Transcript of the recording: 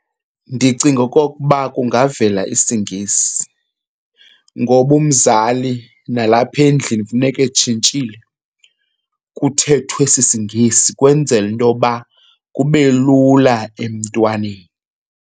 Ndicinga okokuba kungavela isiNgesi ngoba umzali nalapha endlini funeka etshintshile, kuthethwe esi siNgesi kwenzele into yoba kube lula emntwaneni.